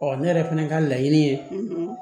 Ɔ ne yɛrɛ fɛnɛ ka laɲini ye